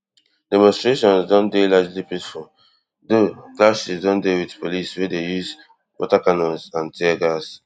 demonstrations don dey largely peaceful though clashes don dey wit police wey dey use water cannons and tear gas